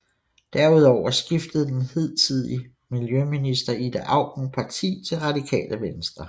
Derudover skiftede den hidtidige miljøminister Ida Auken parti til Radikale Venstre